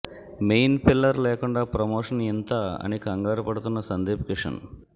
main pillar లేకుండా promotion ఇంతా అని క్నగారు పడుతున్నాడు సందీప్ కిషన్